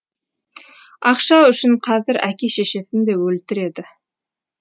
ақша үшін қазір әке шешесін де өлтіреді